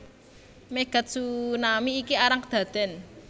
Megatsunami iki arang kedaden